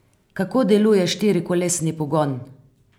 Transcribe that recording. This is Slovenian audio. Kako deluje štirikolesni pogon?